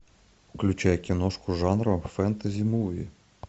включай киношку жанра фэнтези муви